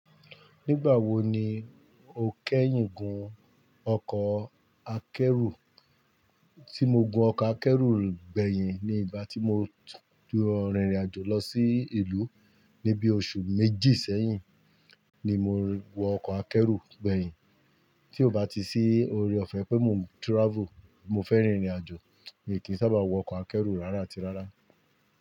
Nígbà wo ni o kẹ́yìn gun ọkọ̀ akẹ́rù? Tí mo gun ọkọ̀ akẹ́rù gbẹ̀yìn ni ìgbà tí mo dúró rìnrìn àjò lọ sí ìlú ní bí oṣù méjì sẹ́yìn ni mo wọ ọkọ̀ akẹ́rù gbẹ̀yìn. Tí o bá ti sí oore-ọ̀fẹ́ pé mo travel, mo fẹ́ rìnrìn àjò, èyí kì í sábà wọ ọkọ̀ akẹ́rù rárá àti rárá.